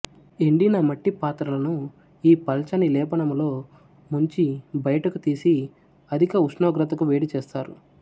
ఎండిన మట్టి పాత్రలను ఈ పల్చని లేపనములో ముంచి బయటకు తీసి అధిక ఉష్ణోగ్రతకు వేడి చేస్తారు